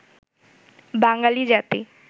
বাঙালি জাতি